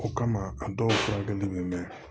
O kama a dɔw furakɛli be mɛn